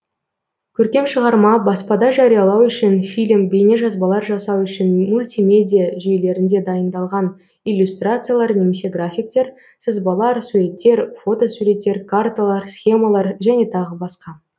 көркем шығарма баспада жариялау үшін фильм бейнежазбалар жасау үшін мультимедиа жүйелерінде дайындалған иллюстрациялар немесе графиктер сызбалар суреттер фото суреттер карталар схемалар және тағы басқа